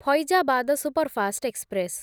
Faizabad superfast express